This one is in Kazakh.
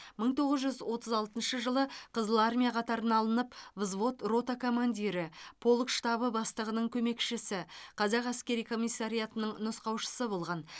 мың тоғыз жүз отыз алтыншы жылы қызыл армия қатарына алынып взвод рота командирі полк штабы бастығының көмекшісі қазақ әскери комиссариатының нұсқаушысы болған